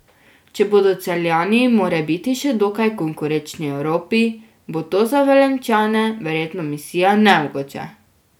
Če bodo Celjani morebiti še dokaj konkurenčni Evropi, bo to za Velenjčane verjetno misija nemogoče.